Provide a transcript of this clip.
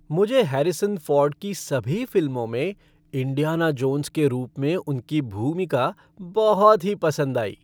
मुझे Harrison Ford की सभी फ़िल्मों में इंडियाना जोन्स के रूप में उनकी भूमिका बहुत ही पसंद आई।